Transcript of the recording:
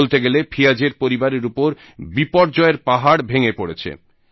বলতে গেলে ফিয়াজের পরিবারের উপর বিপর্যয়ের পাহাড় ভেঙে পড়েছে